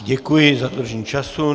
Děkuji za dodržení času.